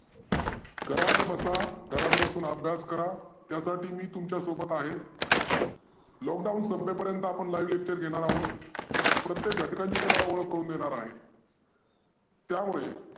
घरात बसा घरात बसून अभ्यास करा त्यासाठी मी तुमच्या सोबत आहे. lockdown संपेपर्यंत आपण live lecture घेनार आहोत. प्रत्येक घतकाची तुम्हाला ओळख करून देणार आहे. त्यामुळे